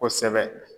Kosɛbɛ